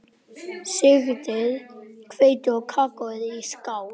Sigtið hveitið og kakóið í skál.